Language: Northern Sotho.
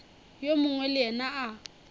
yo mongwe le yena a